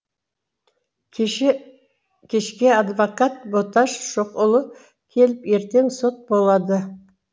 кеше кешке адвокат боташ шоқұлы келіп ертең сот болады